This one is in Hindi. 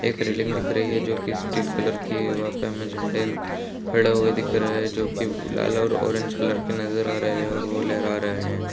एक रेलिंग दिख रही है जो कि स्टील कलर की है वहां पर हमे झंडे खड़ा हुआ दिख रहे है जो कि लाल और ऑरेंज कलर की नजर आ रहे है और वो लहरा रहे है।